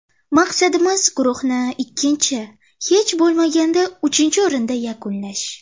Maqsadimiz guruhni ikkinchi, hech bo‘lmaganda uchinchi o‘rinda yakunlash”.